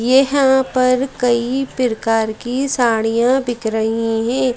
यहां पर कई प्रकार की साड़ियां बिक रही हैं।